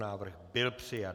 Návrh byl přijat.